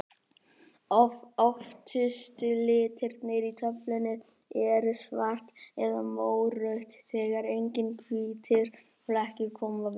Öftustu litirnir í töflunni eru svart eða mórautt, þegar engir hvítir flekkir koma fyrir.